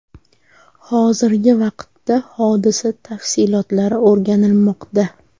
Hozirgi vaqtda hodisa tafsilotlari o‘rganilmoqda.